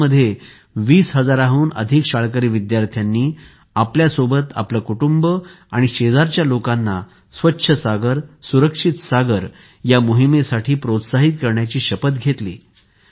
ओदिशामध्ये २० हजारांहून अधिक शाळकरी विद्यार्थ्यांनी आपल्या सोबतच आपले कुटुंब आणि शेजारील लोकांना स्वच्छ सागरसुरक्षित सागर मोहिमेसाठी प्रोत्साहित करण्याची शपथ घेतली